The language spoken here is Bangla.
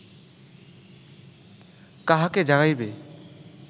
কাহাকে জাগাইবে